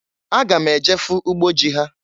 Aga m eje fụ ugbo ji ha.